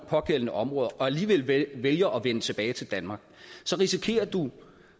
pågældende områder og alligevel vælger at vende tilbage til danmark risikerer du